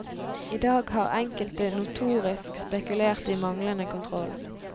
I dag har enkelte notorisk spekulert i manglende kontroll.